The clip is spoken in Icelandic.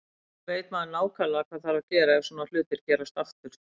Núna veit maður nákvæmlega hvað þarf að gera ef svona hlutir gerast aftur.